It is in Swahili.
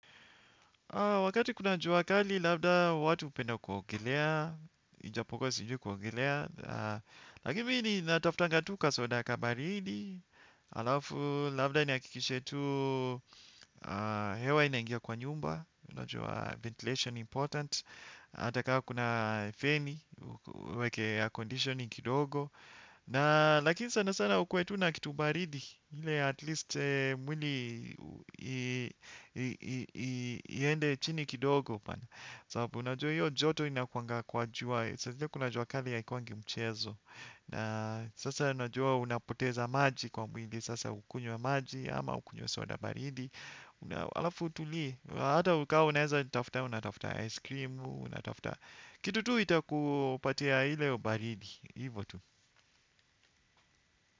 Wakati kuna jua kali, labda watu hupenda kuogelea, ijapokuwa sijui kuogelea. Lakini mimi natafutanga tu kasoda kabaridi, halafu labda nihakikishe tu hewa inaingia kwa nyumba, unajua ventilation important, hata kama kuna feni, uweke air conditioning kidogo. Na lakini sanasana ukuwe tu na kitu baridi ile at least mwili iende chini kidogo. Sababu unajua hiyo joto inakuwanga kwa jua. Saa zile kuna jua kali haikuwangi mchezo. Na sasa unajua unapoteza maji kwa mwili. Sasa ukunywe maji ama ukunywe wa soda baridi. Alafu itulie, hata ukawa unaeza itafuta unatafuta ice cream. Kitu tu ita kupatia ile ubaridi hivo tu.